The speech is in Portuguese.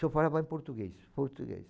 Se eu falava em português, português.